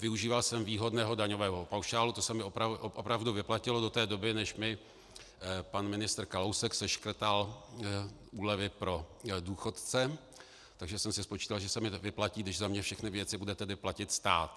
Využíval jsem výhodného daňového paušálu, to se mi opravdu vyplatilo do té doby, než mi pan ministr Kalousek seškrtal úlevy pro důchodce, takže jsem si spočítal, že se mi nevyplatí, když za mě všechny věci bude tedy platit stát.